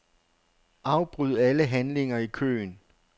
Afbryd alle handlinger i køen.